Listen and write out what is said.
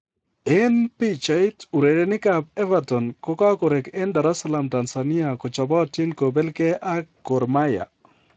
En pichait: Urerenikab Everton kogakorek en Dar es Salaam Tanzania kochobotin kobel gee ak Gor Mahia.